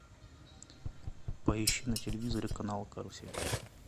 поищи на телевизоре канал карусель